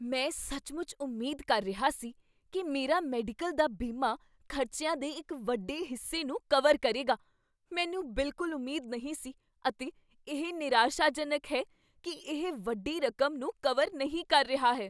ਮੈਂ ਸੱਚਮੁੱਚ ਉਮੀਦ ਕਰ ਰਿਹਾ ਸੀ ਕੀ ਮੇਰਾ ਮੈਡੀਕਲ ਦਾ ਬੀਮਾ ਖ਼ਰਚਿਆਂ ਦੇ ਇੱਕ ਵੱਡੇ ਹਿੱਸੇ ਨੂੰ ਕਵਰ ਕਰੇਗਾ। ਮੈਨੂੰ ਬਿਲਕੁਲ ਉਮੀਦ ਨਹੀਂ ਸੀ ਅਤੇ ਇਹ ਨਿਰਾਸ਼ਾਜਨਕ ਹੈ ਕੀ ਇਹ ਵੱਡੀ ਰਕਮ ਨੂੰ ਕਵਰ ਨਹੀਂ ਕਰ ਰਿਹਾ ਹੈ।